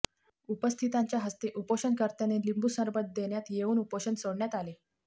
उपस्थितांचे हस्ते उपोषणकर्त्यांनी लिंबूसरबत देण्यात येवून उपोषण सोडण्यात आले